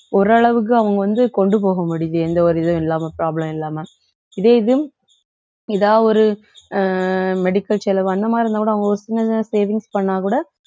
ஓரளவுக்கு அவங்க வந்து கொண்டு போக முடியுது எந்த ஒரு இதுவும் இல்லாம problem இல்லாம இதே இது ஏதா ஒரு அஹ் medical செலவு அந்த மாதிரி இருந்தா கூட அவங்க ஒரு சின்னதா savings பண்ணாக்கூட